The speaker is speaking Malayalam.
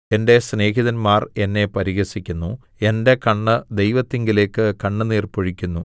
എന്റെ സ്നേഹിതന്മാർ എന്നെ പരിഹസിക്കുന്നു എന്റെ കണ്ണ് ദൈവത്തിങ്കലേക്ക് കണ്ണുനീർ പൊഴിക്കുന്നു